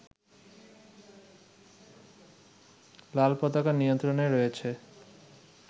লালপতাকার নিয়ন্ত্রণে রয়েছে